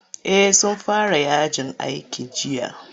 Eh sun fara yajin aiki jiya.